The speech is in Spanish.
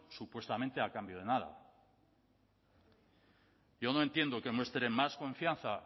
supuestamente a cambio de nada yo no entiendo que muestren más confianza